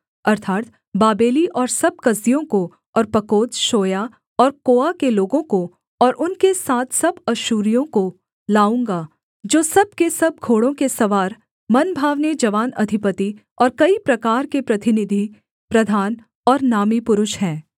अर्थात् बाबेली और सब कसदियों को और पकोद शोया और कोआ के लोगों को और उनके साथ सब अश्शूरियों को लाऊँगा जो सब के सब घोड़ों के सवार मनभावने जवान अधिपति और कई प्रकार के प्रतिनिधि प्रधान और नामी पुरुष हैं